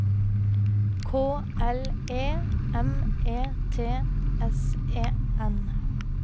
K L E M E T S E N